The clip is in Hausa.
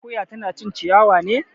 Akoya tana cin ciyawa ne